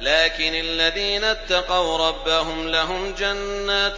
لَٰكِنِ الَّذِينَ اتَّقَوْا رَبَّهُمْ لَهُمْ جَنَّاتٌ